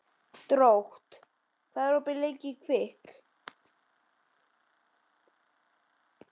Drótt, hvað er opið lengi í Kvikk?